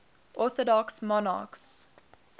orthodox monarchs